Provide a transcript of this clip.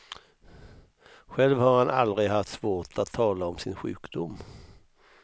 Själv har han aldrig haft svårt att tala om sin sjukdom.